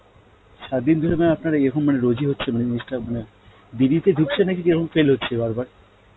সাত দিন ধরে mam আপনার এইরকম মানে রোজ এ হচ্ছে মানে জিনিসটা মানে দেড়িতে তে ঢুকছে নাকি এরম fail হচ্ছে বার বার?